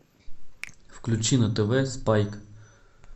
включи на тв спайк